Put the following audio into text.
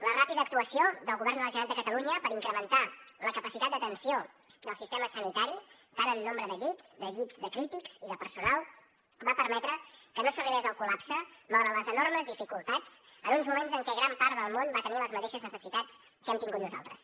la ràpida actuació del govern de la generalitat de catalunya per incrementar la capacitat d’atenció del sistema sanitari tant en nombre de llits de llits de crítics com de personal va permetre que no s’arribés al col·lapse malgrat les enormes dificultats en uns moments en què gran part del món va tenir les mateixes necessitats que hem tingut nosaltres